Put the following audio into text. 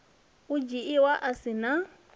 u dzhiiwa a si na